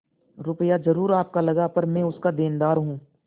रुपया जरुर आपका लगा पर मैं उसका देनदार हूँ